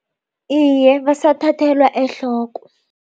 lye, basathathelwa ehloko.